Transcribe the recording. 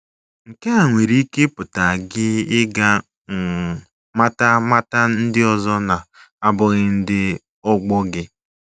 Nke a nwere ike ịpụta gị ịga um mata mata ndị ọzọ na - abụghị ndị ọgbọ gị.